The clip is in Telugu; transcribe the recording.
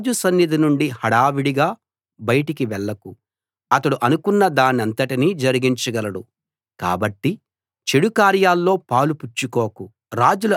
రాజు సన్నిధి నుండి హడావుడిగా బయటికి వెళ్లకు అతడు అనుకున్న దానంతటినీ జరిగించగలడు కాబట్టి చెడు కార్యాల్లో పాలు పుచ్చుకోకు